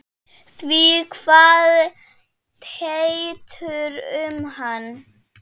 Því kvað Teitur um hana